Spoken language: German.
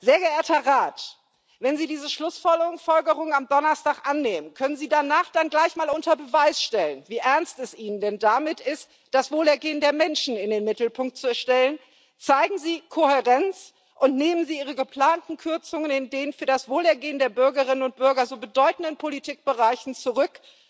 Sehr geehrter Rat! Wenn Sie diese Schlussfolgerungen am Donnerstag annehmen, können Sie danach dann gleich mal unter Beweis stellen, wie ernst es Ihnen denn damit ist, das Wohlergehen der Menschen in den Mittelpunkt zu stellen Zeigen Sie Kohärenz und nehmen Sie Ihre geplanten Kürzungen in den für das Wohlergehen der Bürgerinnen und Bürger so bedeutenden Politikbereichen zurück!